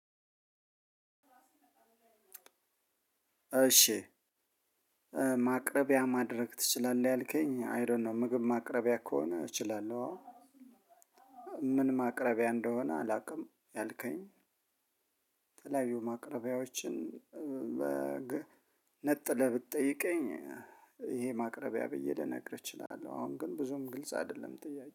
እሺ ማቅረቢያ ማድረግ ትችላለህ? ያልከኝ አይ ዶ ኖ ምግብ ማቅረቢያ ከሆነ እችላለሁ አዎ ምን ማቅረቢያ እንደሆነ አላቅም ያልከኝ። የተለያዩ ማቅረቢያዎችን ነጥለ ብትጠይቀኝ ይሄ ማቅረቢያ ብዬ ልነግርህ እችላለሁ። አሁን ግን ብዙም ግልጽ አይደለም ጥያቄ